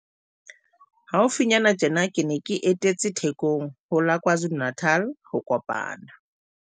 Haufinyana tjena ke ne ke etetse Thekong ho la KwaZulu-Natal ho kopana